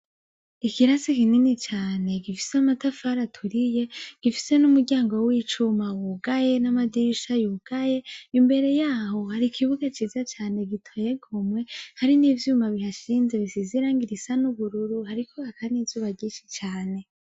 Ikirasi kinini cane gifise amatafari aturiye, gifise n'umuryango w'icuma wugaye n'amadirisha yugaye, imbere y'aho hari ikibuga ciza cane giteye igomwe; hari n'ivyuma bihashinze bisize irangi risa n'ubururu, hariko haka n'izuba ryinshi cane.